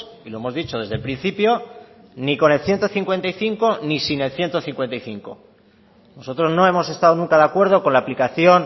y lo hemos dicho desde el principio ni con el ciento cincuenta y cinco ni sin el ciento cincuenta y cinco nosotros no hemos estado nunca de acuerdo con la aplicación